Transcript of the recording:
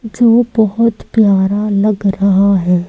जो बहोत प्यारा लग रहा हैं।